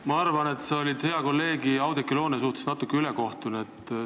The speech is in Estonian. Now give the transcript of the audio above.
Ma arvan, et sa olid hea kolleegi Oudekki Loone suhtes natuke ülekohtune.